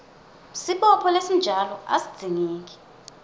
sibopho lesinjalo asidzingeki